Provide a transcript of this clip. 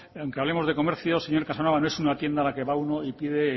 aunque hablemos de comercio señor casanova no es una tienda a la que va uno y pide